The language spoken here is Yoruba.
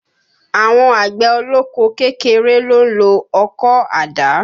Àwọn àgbẹ̀ ọlọ́kọ́ kékeré ló ń lo ọkọ̀, àdá